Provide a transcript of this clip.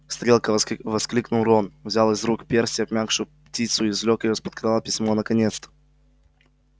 стрелка воскликнул рон взял из рук перси обмякшую птицу и извлёк из-под её крыла письмо наконец-то